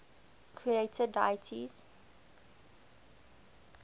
creator deities